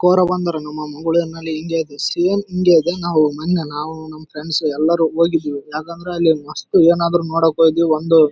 ಕೋರಬಂದರು ನಮ್ಮ ಮಂಗಳೂರಲ್ಲಿಇಂಗೇ ಇದೆ ಸೇಮ್‌ ಇಂಗೇ ಇದೆ ನಾವು ನಂಗ ನಾವು ನಮ್ಮ ಫ್ರೆಂಡ್ಸ್ ಎಲ್ಲರೂ ಹೋಗಿದ್ದೀವಿ ಯಾಕಂದ್ರೆ ಅಲ್ಲಿ ಮಸ್ತ್‌ ಏನಾದ್ರು ನೋಡಕ್ಕೋದಿವಿ ಒಂದು--